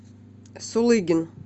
сулыгин